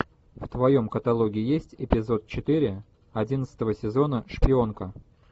в твоем каталоге есть эпизод четыре одиннадцатого сезона шпионка